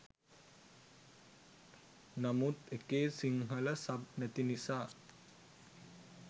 නමුත් එකේ සිංහල සබ් නැති නිසා